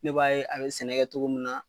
Ne b'a ye, a be sɛnɛ kɛ cogo mun na